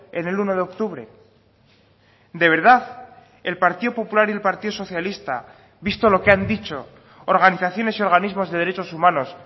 en el uno de octubre de verdad el partido popular y el partido socialista visto lo que han dicho organizaciones y organismos de derechos humanos